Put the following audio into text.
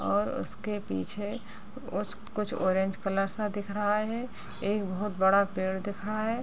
और उस के पीछे उस कुछ ऑरेंज कलर सा दिख रहा है एक बहोत बड़ा पेड़ दिख रहा है।